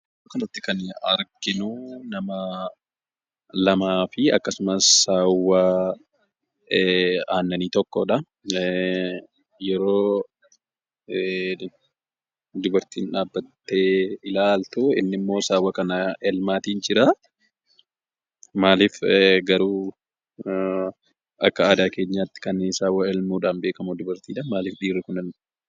Bakkanatti kan arginuu nama lamaa fi akkasumas saawwaa aannanii tokkodha. Yeroo dubartiin dhaabbattee ilaaltu innimmoo saawwa kana elmaatii jiraa. Maaliif garuu akka aadaa keenyaatti saawwa kan elmuun beekamu dubartiidha maaliif dhiirri kun elma?